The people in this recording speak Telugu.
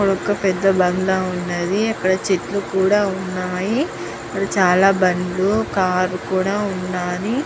ఇక్కడ ఒక పేద బండ వున్నది చేతుల్లు కూడా వున్నాయి చాల బండుల్లు కార్ కూడా వున్నది.